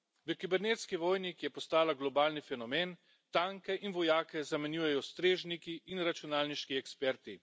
V kibernetski vojni, ki je postala globalni fenomen, tanke in vojake zamenjujejo strežniki in računalniški eksperti.